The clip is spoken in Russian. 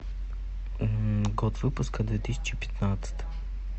год выпуска две тысячи пятнадцатый